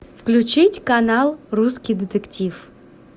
включить канал русский детектив